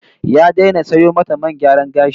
Ya daina sayo mata man gyaran gashi